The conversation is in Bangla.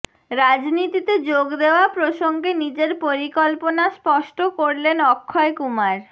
রাজনীতিতে যোগ দেওয়া প্রসঙ্গে নিজের পরিকল্পনা স্পষ্ট করলেন অক্ষয় কুমার